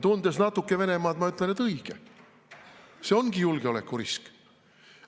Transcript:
Tundes natuke Venemaad, ma ütlen, et õige, see ongi julgeolekurisk.